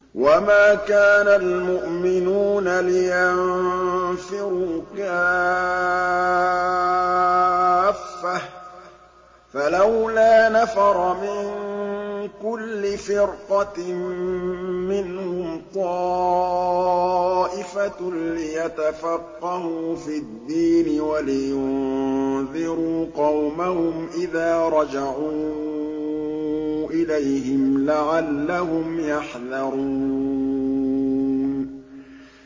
۞ وَمَا كَانَ الْمُؤْمِنُونَ لِيَنفِرُوا كَافَّةً ۚ فَلَوْلَا نَفَرَ مِن كُلِّ فِرْقَةٍ مِّنْهُمْ طَائِفَةٌ لِّيَتَفَقَّهُوا فِي الدِّينِ وَلِيُنذِرُوا قَوْمَهُمْ إِذَا رَجَعُوا إِلَيْهِمْ لَعَلَّهُمْ يَحْذَرُونَ